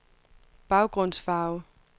baggrundsfarve